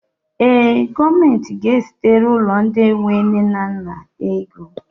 Ee, gọọmenti ga-ezitere ụlọ ndị enwe nne na nna ego